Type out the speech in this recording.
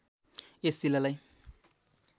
यस जिल्लालाई